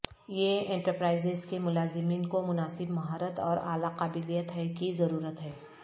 یہ انٹرپرائز کے ملازمین کو مناسب مہارت اور اعلی قابلیت ہے کی ضرورت ہے